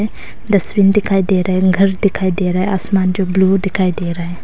Dustbin दिखाई दे रहा है घर दिखाई दे रहा है आसमान जो ब्लू दिखाई दे रहा है।